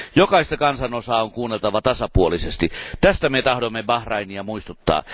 Jokaista kansanosaa on kuunneltava tasapuolisesti, tästä me tahdomme Bahrainia muistuttaa.